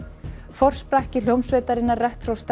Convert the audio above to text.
forsprakki hljómsveitarinnar